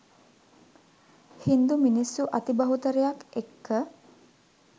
හින්දු මිනිස්සු අති බහුතරයක් එක්ක